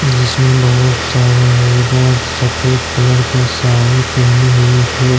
जिसमें बहुत सारा औरत सफेद कलर का साड़ी पहनी हुई है।